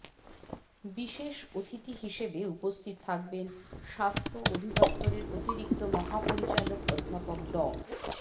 বিশেষ অতিথি হিসেবে উপস্থিত থাকবেন স্বাস্থ্য অধিদপ্তরের অতিরিক্ত মহাপরিচালক অধ্যাপক ড